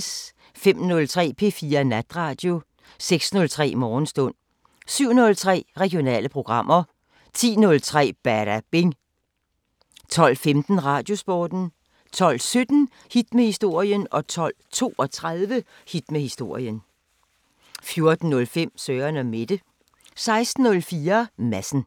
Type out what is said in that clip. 05:03: P4 Natradio 06:03: Morgenstund 07:03: Regionale programmer 10:03: Badabing 12:15: Radiosporten 12:17: Hit med historien 12:32: Hit med historien 14:03: Søren & Mette 16:04: Madsen